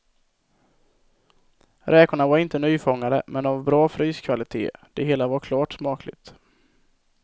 Räkorna var inte nyfångade men av bra fryskvalitet, det hela var klart smakligt.